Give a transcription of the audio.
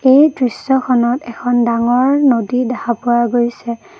এই দৃশ্যখনত এখন ডাঙৰ নদী দেখা পোৱা গৈছে।